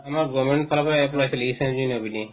আমাৰ government ফালৰ পৰা